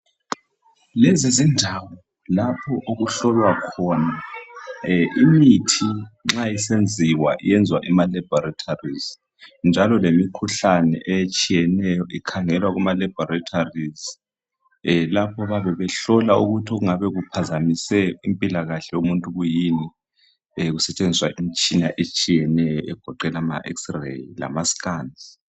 Lesi zindawo lapho okuhlolwa khona imithi nxa isenziwa iyenzwa ema Labolatories njalo lemikhuhlane lemikhuhlane etshiyeneyo ikhangelwa emalaboratories lapho abayabe behlola ukuthi okungabe kuphazamise impilakahle yomuntu kuyini besebenzisa imitshina eyabe itshiyene egoqela ama x rays lama scan